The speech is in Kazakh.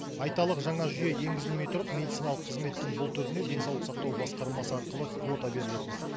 айталық жаңа жүйе енгізілмей тұрып медициналық қызметтің бұл түріне денсаулық сақтау басқармасы арқылы квота берілетін